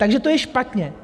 Takže to je špatně.